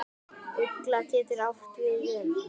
Ugla getur átt við um